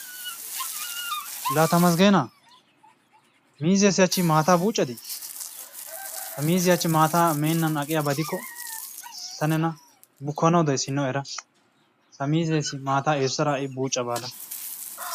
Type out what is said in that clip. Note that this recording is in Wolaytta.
Laa temesgeenaa miizzeessi hachchi maataa buuccadii? Ha miizziya hachchi maataa meennan aqiyabadikko ta nena bukkanawu dayis hinno era! Ha miizzeessi maataa eesotada ha'i buucca baada.